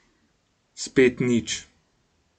Spet nič.